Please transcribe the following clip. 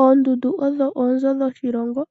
Oondundu odho oonzo dhoshilongo,